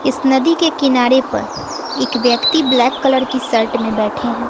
इस नदी के किनारे पर एक व्यक्ति ब्लैक कलर की शर्ट में बैठे हैं।